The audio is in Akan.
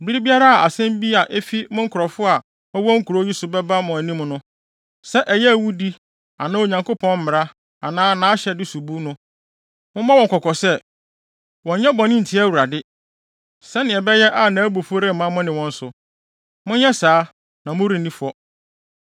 Bere biara a asɛm bi a efi mo nkurɔfo a wɔwɔ nkurow yi so bɛba mo anim no, sɛ ɛyɛ awudi anaa Onyankopɔn mmara anaa nʼahyɛde sobu no, mommɔ wɔn kɔkɔ sɛ, wɔnnyɛ bɔne ntia Awurade, sɛnea ɛbɛyɛ a nʼabufuw remma mo ne wɔn so. Monyɛ saa, na morenni fɔ.